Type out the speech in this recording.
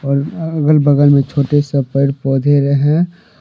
अगल बगल में छोटे से पेड़ पौधे रहे।